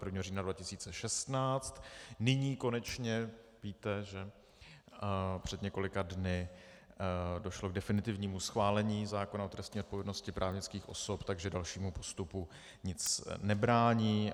Nyní konečně víte, že před několika dny došlo k definitivnímu schválení zákona o trestní odpovědnosti právnických osob, takže dalšímu postupu nic nebrání.